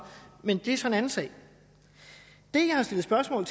men det er så en anden sag det jeg har stillet spørgsmål